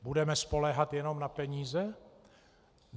Budeme spoléhat jenom na peníze?